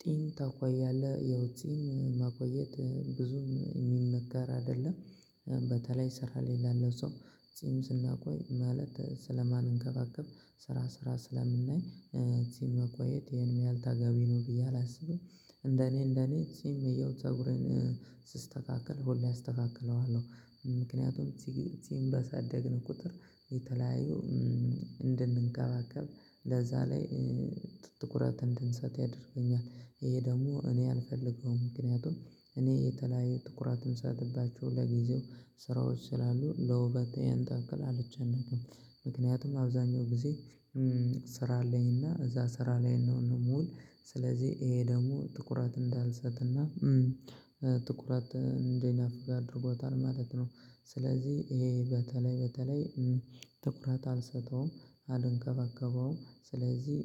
ጥን ታቆያለህ ያው ጥን ማቆየት ብዙም የሚመጋር አይደለም። በተለይ ስራ ላይ ላለው ሰው ጺም ስናቆይ ማለት ስለማንንከባከብ ስራ ስራ ስለምናይ ጺም ማቆየት ይሄን ያህል ተገቢ ነው ብዬ አላስብም። እንደኔ እንደኔ ጺም ያው ፀጉሬን ስስተካከል ሁሌ አስተካክለዋለሁ። ምክንያቱም እቺን በሳደግን ቁጥር የተለያዩ እንድንንከባከብ ለዛ ላይ ትኩረት እንድንሰጥ ያደርገኛል። ይሄ ደግሞ እኔ አልፈልገውም ምክንያቱም እኔ የተለያየ ትኩረትን የምሰጥባቸው ለጊዜው ስራዎች ስላሉ ለውበት ያን ታክል አልጨነቅም። ምክንያቱም አብዛኛው ጊዜ ስራ አለኝና እዛ ስራ ላይ ነው የምውል። ስለዚህ ይሄ ደግሞ ትኩረት እንዳልሰጥና ትኩረት እንዲነፍግ አድርጎታል ማለት ነው። ስለዚህ ይሄ በተለይ በተለይ ትኩረት አልሰጠውም አልንከባከበውም ስለዚህ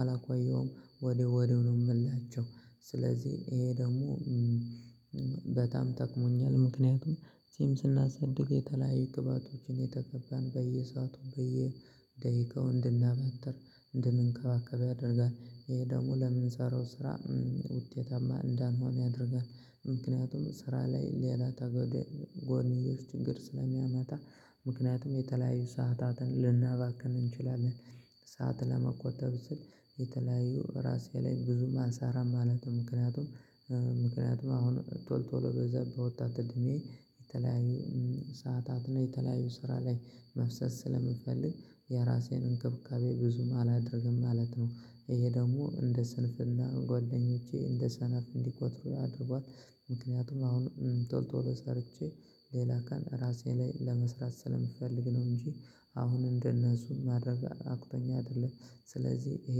አላቆየውም ወዲያው ወዲያው ነው የምላጨው። ስለዚህ ይሄ ደግሞ በጣም ጠቅሞኛል ምክንያቱም ጺም ስናሳድግ የተለያየ ቅባቶችን የተቀባን በየሰአቱ በየደቂቃው እንድናማትር እንድንከባከብ ያደርጋል። ይሄ ደግሞ ለምንሰራው ስራ ውጤታማ እንዳንሆን ያደርጋል። ምክንያቱም ስራ ላይ ሌላ ጎንዮሽ ችግር ስለሚያመታ ምክንያቱም የተለያዩ ሰዓታትን ልናባክን እንችላለን። ሰዓት ለመቆጠብ ስል የተለያዩ ራሴ ላይ ብዙም አልሰራም ማለት ነው። ምክንያቱም ምክንያቱም አሁን ቶሎ ቶሎ በዛ በወጣት እድሜ የተለያዩ ሰዓታት ነው የተለያዩ ስራ ላይ መፍሰስ ስለምፈልግ የራሴን እንክብካቤ ብዙም አላደርግም ማለት ነው። ይሄ ደግሞ እንደ ስንፍና ጓደኞቼ እንደ ሰነፍ እንዲቆጥሩኝ አድርጓል። ምክንያቱም አሁን ቶሎ ቶሎ ሰርቼ ሌላ ቀን ራሴ ላይ ለመስራት ስለሚፈልግ ነው እንጂ አሁን እንደነሱ ማድረግ አቅቶኝ አይደለም። ስለዚህ ይሄ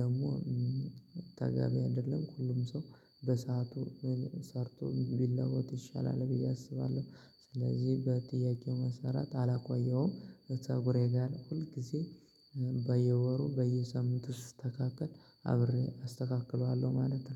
ደግሞ ታጋሚ አይደለም ሁሉም ሰው በሰአቱ ሰርቶ ቢለወጥ ይሻላል ብዬ አስባለሁ። ስለዚህ በጥያቄው መሰረት አላቆየውም። ፀጉሬ ጋር ሁል ጊዜ በየወሩ በየሳምቱ ሥተካከል አብሬ አስተካክለዋለሁ ማለት ነው።